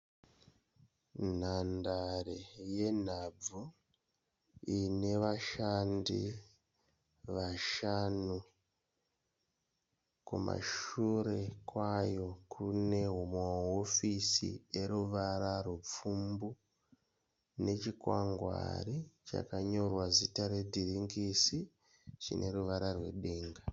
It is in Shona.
Nhandare yenhabvu ine vashandi vashanu. Kumashure kwayo kune mahofisi eruvara rwepfumbu nechikwangwari chanyorwa zita redhiringisi chine ruvara rwedenga.